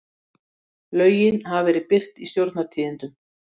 Lögin hafa verið birt í Stjórnartíðindum